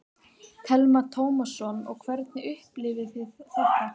Telma Tómasson: Og hvernig upplifðuð þið þetta?